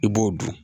I b'o dun